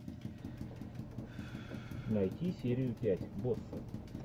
найти серию пять босса